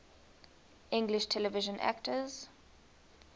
english television actors